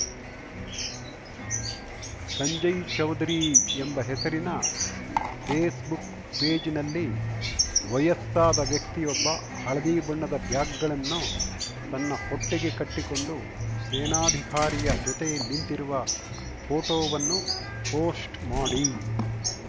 ಸಂಜಯ್‌ ಚೌದರಿ ಎಂಬ ಹೆಸರಿನ ಫೇಸ್‌ಬುಕ್‌ ಪೇಜ್‌ನಲ್ಲಿ ವಯಸ್ಸಾದ ವ್ಯಕ್ತಿಯೊಬ್ಬ ಹಳದಿ ಬಣ್ಣದ ಬ್ಯಾಗ್‌ಗಳನ್ನು ತನ್ನ ಹೊಟ್ಟೆಗೆ ಕಟ್ಟಿಕೊಂಡು ಸೇನಾಧಿಕಾರಿಯ ಜೊತೆ ನೀಂತಿರುವ ಫೋಟೋವನ್ನು ಪೋಸ್ಟ್‌ ಮಾಡಿ